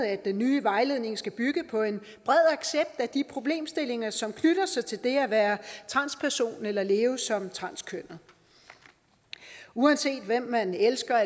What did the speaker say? at den nye vejledning skal bygge på en bred accept af de problemstillinger som knytter sig til det at være transperson eller leve som transkønnet uanset hvem man elsker